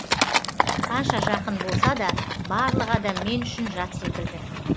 қанша жақын болса да барлық адам мен үшін жат секілді